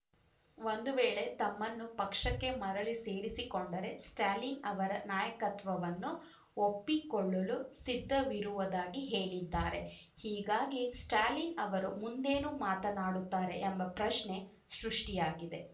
ಒಂದು ವೇಳೆ ತಮ್ಮನ್ನು ಪಕ್ಷಕ್ಕೆ ಮರಳಿ ಸೇರಿಸಿಕೊಂಡರೆ ಸ್ಟ್ಯಾಲಿನ್‌ ಅವರ ನಾಯಕತ್ವವನ್ನು ಒಪ್ಪಿಕೊಳ್ಳಲು ಸಿದ್ಧವಿರುವುದಾಗಿ ಹೇಳಿದ್ದಾರೆ ಹೀಗಾಗಿ ಸ್ಟ್ಯಾಲಿನ್‌ ಅವರು ಮುಂದೇನು ಮಾತನಾಡುತ್ತಾರೆ ಎಂಬ ಪ್ರಶ್ನೆ ಸೃಷ್ಟಿಯಾಗಿದೆ